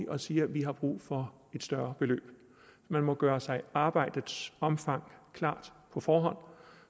og siger at vi har brug for et større beløb man må gøre sig arbejdets omfang klart på forhånd